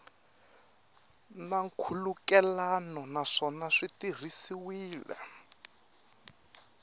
na nkhulukelano naswona swi tirhisiwile